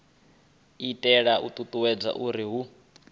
itela u ṱuṱuwedza uri hu